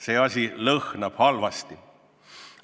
See asi lõhnab halvasti.